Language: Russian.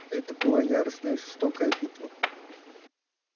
это была яростная и жестокая битва